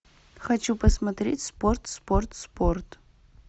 хочу посмотреть спорт спорт спорт